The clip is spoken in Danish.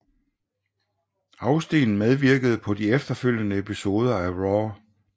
Austin medvirkede på de efterfølgende episoder af RAW